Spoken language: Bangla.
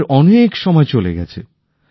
আমাদের অনেক সময় চলে গেছে